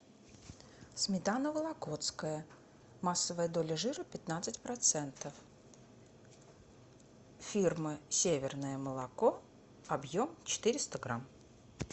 сметана вологодская массовая доля жира пятнадцать процентов фирма северное молоко объем четыреста грамм